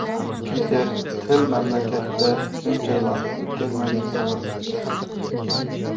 Piter Til mamlakatda shuncha vaqt o‘tkazmagan.